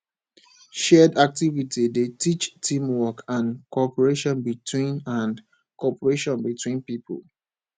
shared activity dey teach team work and cooperation between and cooperation between pipo